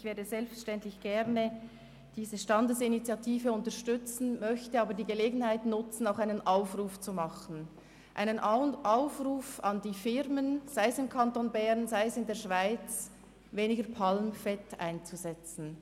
Ich werde selbstverständlich gerne diese Standesinitiative unterstützen, möchte aber die Gelegenheit zu einem Aufruf nutzen, einem Aufruf an die Firmen, sei es im Kanton Bern oder sei es in der Schweiz, weniger Palmfett einzusetzen.